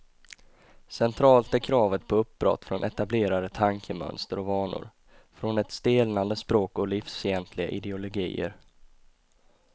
Centralt är kravet på uppbrott från etablerade tankemönster och vanor, från ett stelnande språk och livsfientliga ideologier.